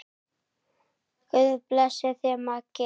Guð blessi þig, Maggi.